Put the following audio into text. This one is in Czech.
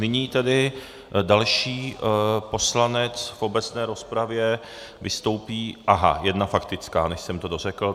Nyní tedy další poslanec v obecné rozpravě vystoupí... aha jedna faktická, než jsem to dořekl.